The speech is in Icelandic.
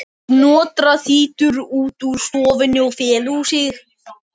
Snotra þýtur út úr stofunni og felur sig.